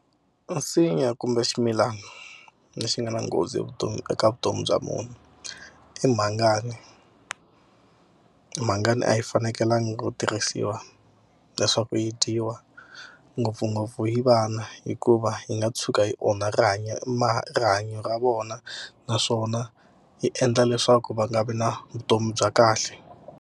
A nsinya kumbe ximilana lexi nga na nghozi vutomi eka vutomi bya munhu i mhangani. Mhangani a yi fanekelanga ku tirhisiwa leswaku yi dyiwa ngopfungopfu hi vana hikuva yi nga tshuka yi onha rihanyo rihanyo ra vona naswona yi endla leswaku va nga vi na vutomi bya kahle.